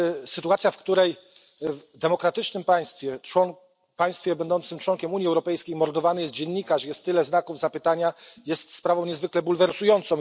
Sytuacja, w której w demokratycznym państwie, w państwie będącym członkiem Unii Europejskiej mordowany jest dziennikarz i jest tyle znaków zapytania, jest sprawą niezwykle bulwersującą.